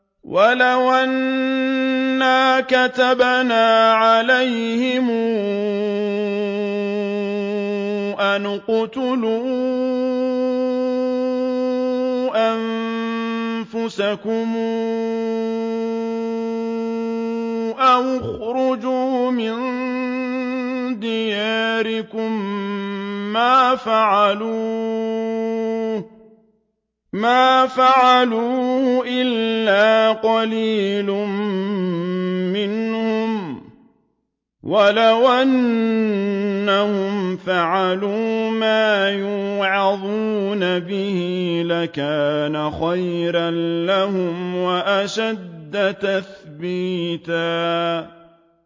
وَلَوْ أَنَّا كَتَبْنَا عَلَيْهِمْ أَنِ اقْتُلُوا أَنفُسَكُمْ أَوِ اخْرُجُوا مِن دِيَارِكُم مَّا فَعَلُوهُ إِلَّا قَلِيلٌ مِّنْهُمْ ۖ وَلَوْ أَنَّهُمْ فَعَلُوا مَا يُوعَظُونَ بِهِ لَكَانَ خَيْرًا لَّهُمْ وَأَشَدَّ تَثْبِيتًا